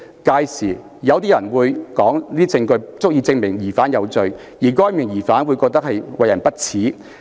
屆時，有些人便會說那些證據足以證明疑犯有罪，而該名疑犯會覺得為人不齒。